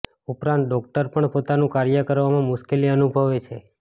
ઉપરાંત ડોક્ટર પણ પોતાનું કાર્ય કરવામાં મુશ્કેલી અનુભવે છે